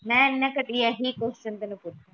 ਮੈ ਇਹਨੇ ਘਟੀਆ ਹੀ ਕ਼ੁਇਸਨ ਤੈਨੂੰ ਪੁੱਛਣਾ